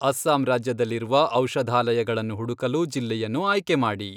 ಅಸ್ಸಾಂ ರಾಜ್ಯದಲ್ಲಿರುವ ಔಷಧಾಲಯಗಳನ್ನು ಹುಡುಕಲು ಜಿಲ್ಲೆಯನ್ನು ಆಯ್ಕೆ ಮಾಡಿ.